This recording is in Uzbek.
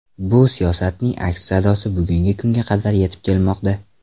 Bu siyosatning aks sadosi bugungi kunga qadar yetib kelmoqda.